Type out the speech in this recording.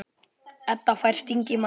Edda fær sting í magann.